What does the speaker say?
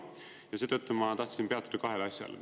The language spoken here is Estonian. Ja seetõttu ma tahtsin peatuda kahel asjal.